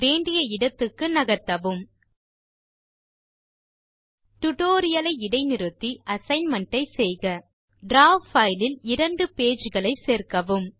வேண்டிய இடத்துக்கு நகர்த்தவும் டியூட்டோரியல் லை இடை நிறுத்தி அசைன்மென்ட் ஐ செய்க டிராவ் பைல் இல் இரண்டு பேஜ் களை சேர்க்கவும்